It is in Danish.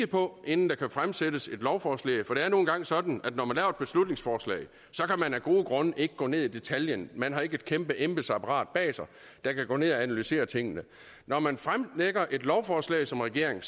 på inden der kan fremsættes et lovforslag for det er nu engang sådan at når man laver et beslutningsforslag kan man af gode grunde ikke gå ned i detaljen man har ikke et kæmpe embedsapparat bag sig der kan gå ned og analysere tingene når man fremsætter et lovforslag som regering